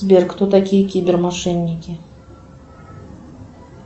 сбер кто такие кибермошенники